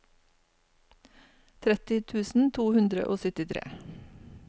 tretti tusen to hundre og syttitre